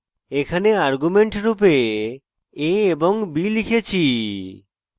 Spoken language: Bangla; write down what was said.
এখানে arguments রূপে a এবং b লিখেছি